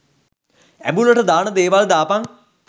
ඇඹුලට දාන දේවල් දාපන්.